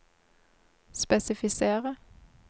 spesifisere